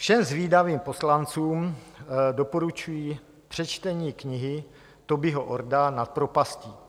Všem zvídavým poslancům doporučuji přečtení knihy Tobyho Orda Nad propastí.